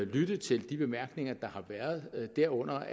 lyttet til de bemærkninger der har været derunder